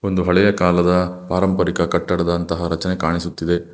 ಒಂದು ಹಳೆಯ ಕಾಲದ ಪಾರಂಪರಿಕ ಕಟ್ಟಡದಂತಹ ರಚನೆ ಕಾಣಿಸುತ್ತಿದೆ.